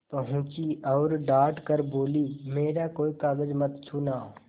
पहुँची और डॉँट कर बोलीमेरा कोई कागज मत छूना